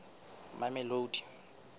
mamelodi